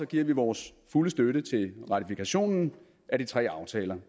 giver vi vores fulde støtte til ratifikationen af de tre aftaler